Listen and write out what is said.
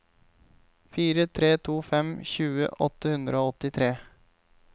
fire tre to fem tjue åtte hundre og åttitre